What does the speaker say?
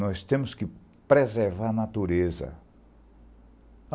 Nós temos que preservar a natureza.